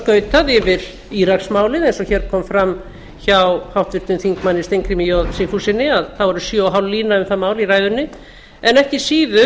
skautað yfir íraksmálið eins og hér kom fram hjá háttvirtum þingmönnum steingrími j sigfússyni var sjö og hálf lína um það mál í ræðunni en ekki síður